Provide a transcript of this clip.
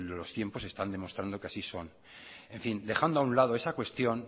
los tiempos están demostrando que así son dejando a un lado esa cuestión